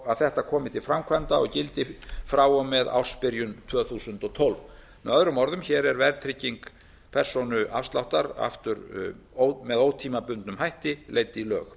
að þetta komi til framkvæmda og gildi frá og með ársbyrjun tvö þúsund og tólf með öðrum orðum er hér verðtrygging persónuafsláttar aftur með ótímabundnum hætti leidd í lög